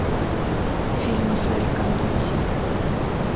фильмы сарика андреасяна